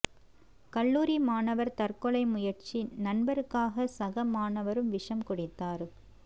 கல்லூரி மாணவா் தற்கொலை முயற்சி நண்பருக்காக சக மாணவரும் விஷம் குடித்தாா்